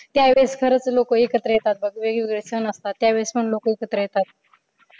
त्यावेळेस लोक खरच एकत्र येतात बघ वेगवेगळे सण असतात त्यावेळेस पण लोक एकत्र येतात.